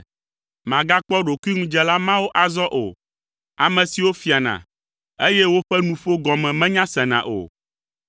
Màgakpɔ ɖokuiŋudzela mawo azɔ o, ame siwo fiana, eye woƒe nuƒo gɔme menyasena o.